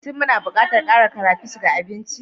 Shin muna buƙatar ƙara crayfish ga abinci?